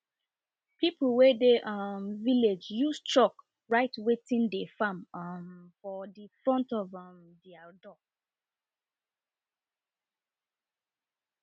people wey dey um village use chalk write wetin dey farm um for de front um of door